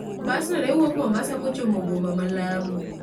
Bas no ne wuok Mombasa kochomo boma ma Lamu.